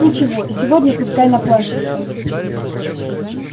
ничего сегодня пускай наплачется